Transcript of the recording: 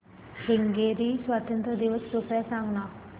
Hungary स्वातंत्र्य दिवस कृपया सांग ना